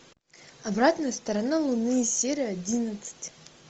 обратная сторона луны серия одиннадцать